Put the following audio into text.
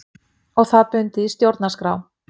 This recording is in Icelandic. Og það bundið í stjórnarskrá